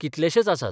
कितलेशेच आसात.